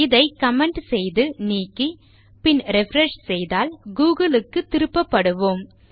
இதை கமெண்ட் செய்து நீக்கி பின் ரிஃப்ரெஷ் செய்தால் கூகிள் க்கு திருப்பப்படுவோம்